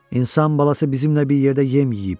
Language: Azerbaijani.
İnsan balası bizimlə bir yerdə yem yeyib.